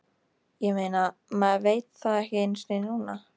Ég meina, maður veit það ekki einu sinni núna.